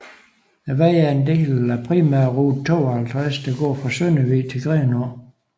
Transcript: Vejen er en del af primærrute 52 der går fra Søndervig til Grenaa